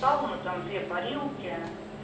сауна там две парилки